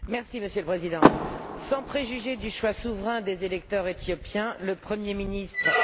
Monsieur le Président, sans préjuger du choix souverain des électeurs éthiopiens, le Premier ministre M.